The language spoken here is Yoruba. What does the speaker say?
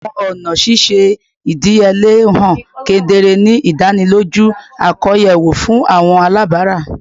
Awọn ọna ṣiṣe idiyele han kedere, ni idaniloju akoyawo fun awọn alabara